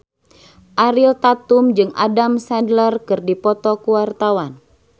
Ariel Tatum jeung Adam Sandler keur dipoto ku wartawan